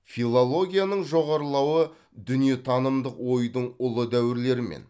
филологияның жоғарылауы дүниетанымдық ойдың ұлы дәуірлерімен